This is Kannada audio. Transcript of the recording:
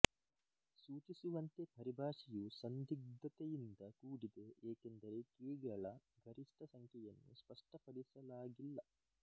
ಸೂಚಿಸುವಂತೆ ಪರಿಭಾಷೆಯು ಸಂದಿಗ್ಧತೆಯಿಂದ ಕೂಡಿದೆ ಎಕೆಂದರೆ ಕೀಗಳ ಗರಿಷ್ಟ ಸಂಖ್ಯೆಯನ್ನು ಸ್ಪಷ್ಟಪಡಿಸಲಾಗಿಲ್ಲ